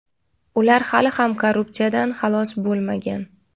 ular hali ham korrupsiyadan xalos bo‘lmagan.